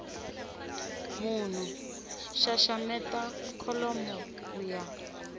munhu xaxameta kholomo ku ya